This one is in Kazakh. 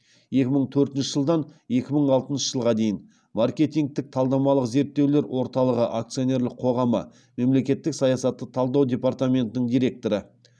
екі мың төртінші жылдан екі мың алтыншы жылға дейін маркетингтік талдамалық зерттеулер орталығы акционерлік қоғамы мемлекеттік саясатты талдау департаментінің директоры